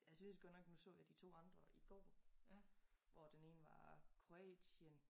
Jeg synes godt nok nu så jeg de 2 andre i går hvor den ene var Kroatien